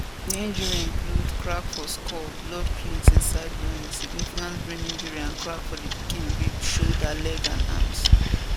di injury include crack for skull blood cloth inside brain significant brain injury and crack for di pikin rib shoulder legs and arms